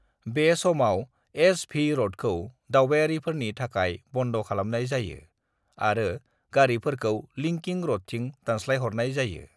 "बे समाव एस.भि. र'डखौ दावबारिफोरनि थाखाय बन्द खालामनाय जायो, आरो गारिफोरखौ लिंकिं र'डथिं दानस्लायहरनाय जायो।"